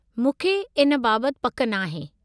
मूंखे इन बाबति पकि नाहे।